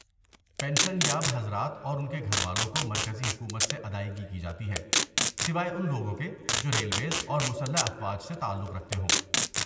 pension یاب حضرات اور ان کے گھر والوں کو مرکزی حکومت سے ادائیگی کی جاتی ہے سوائے ان لوگوں کے جو ریلویز اور مسلح افواج سے تعلق رکھتے ہوں